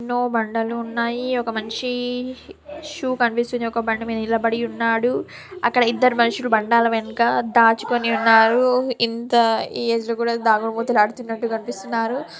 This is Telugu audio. ఎన్నో బండలు ఉన్నాయి. ఒక మనిషి షూ కనిపిస్తుంది. ఒక ఒక బండ మీద నిలబడి ఉన్నాడు. అక్కడ ఇద్దరు మనుషులు బండల వెనకాల దాచుకొని ఉన్నారు. ఇంకా ఈ ఏజ్ లో కూడా దాగుడు మూతలు ఆడుతున్నట్టుగా కనిపిస్తున్నారు.